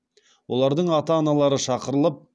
олардың ата аналары шақырылып